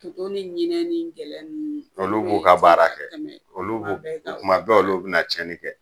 Toto ni ɲinɛn ni gɛlɛn nunnu, olu b'u ka baara kɛ olu b'o kuma bɛɛ olu bɛ na tiɲɛni kɛ.